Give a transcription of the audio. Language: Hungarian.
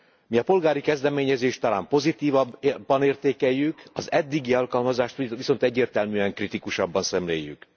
Mi a polgári kezdeményezést talán pozitívabban értékeljük, az eddigi alkalmazást viszont egyértelműen kritikusabban szemléljük.